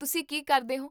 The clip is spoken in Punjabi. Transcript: ਤੁਸੀਂ ਕੀ ਕਰਦੇ ਹੋ?